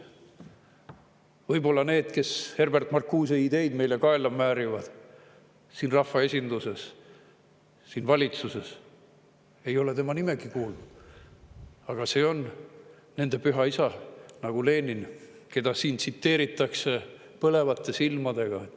Võib-olla need, kes Herbert Marcuse ideid meile kaela määrivad siin rahvaesinduses ja valitsuses, ei ole tema nime kuulnudki, aga see on nende püha isa, nagu Lenin, keda siin tsiteeritakse põlevate silmadega.